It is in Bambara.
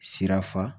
Sira fa